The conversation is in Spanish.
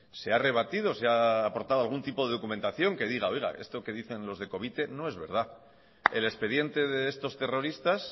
se ha rebatido se ha aportado algún tipo de documentación que diga esto que dicen los de covite no es verdad el expediente de estos terroristas